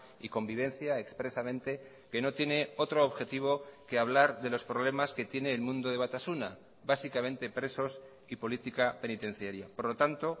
y convivencia expresamente que no tiene otro objetivo que hablar de los problemas que tiene el mundo de batasuna básicamente presos y política penitenciaria por lo tanto